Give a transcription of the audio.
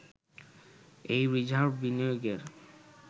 এই রিজার্ভ বিনিয়োগের